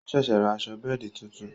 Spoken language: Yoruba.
O ṣẹ̀ṣẹ̀ rà aṣọ bẹ́ẹ̀di tuntun